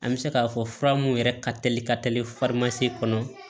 An bɛ se k'a fɔ fura mun yɛrɛ ka teli ka teli farimasi kɔnɔ